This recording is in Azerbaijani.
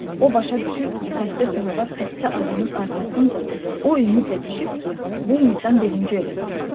O başa düşürdü ki, xəstə canavar xəstə adamın arxasınca o ümidlə düşüb ki, bu insan birinci öləcək.